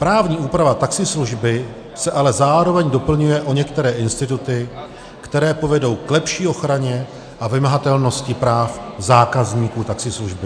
Právní úprava taxislužby se ale zároveň doplňuje o některé instituty, které povedou k lepší ochraně a vymahatelnosti práv zákazníků taxislužby.